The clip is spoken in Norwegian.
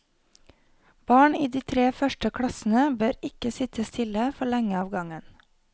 Barn i de tre første klassene bør ikke sitte stille for lenge av gangen.